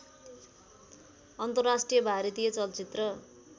अन्तर्राष्ट्रिय भारतीय चलचित्र